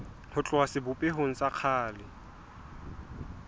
ho tloha sebopehong sa kgale